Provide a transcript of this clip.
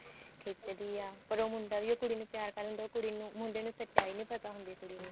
ਖਿੱਚਦੀ ਐ ਪਰ ਉਹ ਮੁੰਡਾ ਵੀ ਉਹ ਕੁੜੀ ਨੂੰ ਪਿਆਰ ਕਰਦਾ ਹੁੰਦਾ ਉਹ ਕੁੜੀ ਨੂੰ ਮੁੰਡੇ ਨੂੰ ਸਚਾਈ ਨੀ ਪਤਾ ਹੁੰਦੀ ਕੁੜੀ ਦੀ